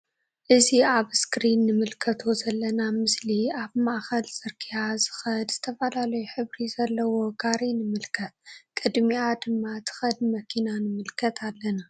ናእዚ አብ እስክሪን እንምልከቶ ዘለና ምስሊ አብ ማእከል ፅርግያ ዝከድ ዝተፈላለዩ ሕብሪ ዘለዎ ጋሪ ንምልከት ቅድሚአ ድማ ትከድ መኪና ንምልከት አለና::